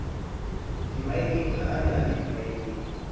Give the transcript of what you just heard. dimmaeneng ha a le dimmaeneng